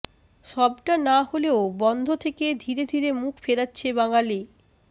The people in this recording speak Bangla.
সবটা না হলেও বন্ধ থেকে ধীরে ধীরে মুখ ফেরাচ্ছে বাঙালি